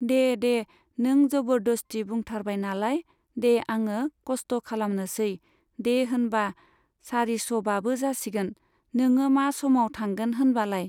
दे दे नों जबरदस्ति बुंथारबाय नालाय दे आङो कस्त' खालामनोसै, दे होनबा सारिस'बाबो जासिगोन, नोङो मा समाव थांगोन होनबालाय?